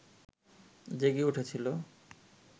জেগে উঠেছিল